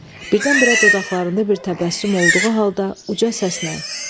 Birdən-birə dodaqlarında bir təbəssüm olduğu halda uca səslə: